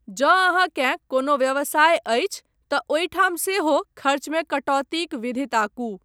जँ अहाँकेँ कोनो व्यवसाय अछि तँ ओहिठाम सेहो खर्चमे कटौतीक विधि ताकू।